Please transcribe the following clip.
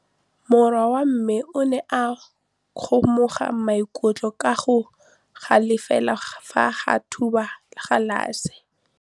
Morwa wa me o ne a kgomoga maikutlo ka go galefa fa a thuba galase.